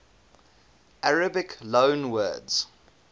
arabic loanwords